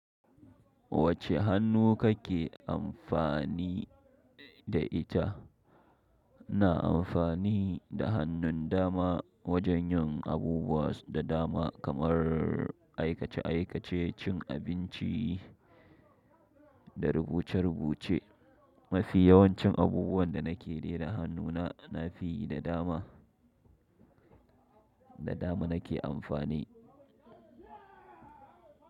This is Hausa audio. Wacce hannu kake amfani da ita? Na amfani da hannun dama wajen yin abubuwa da dama kamar aikace-aikace, cin abinci da rubuce-rubuce. Mafi yawancin abubuwan da nake dai da hannuna na fi yi da dama, da dama nake amfani.